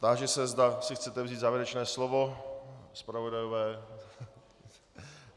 Táži se, zda si chcete vzít závěrečné slovo, zpravodajové.